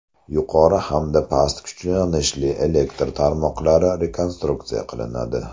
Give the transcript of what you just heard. Yuqori hamda past kuchlanishli elektr tarmoqlari rekonstruksiya qilinadi.